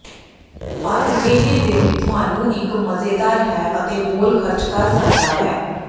ਪਰ ਇਹ ਦਿਨ ਤੁਹਾਨੂੰ ਇੱਕ ਮਜ਼ੇਦਾਰ ਹੈ ਅਤੇ ਬੋਲ ਖਰਚ ਕਰ ਸਕਦਾ ਹੈ